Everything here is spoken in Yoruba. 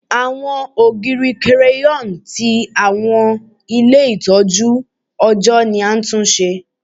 Awọn ogiri crayon ti awọn ile itọju ọjọ ni a tun ṣe